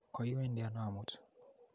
Koiwendi ano amut?